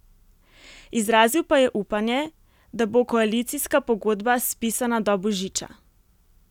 Izrazil pa je upanje, da bo koalicijska pogodba spisana do božiča.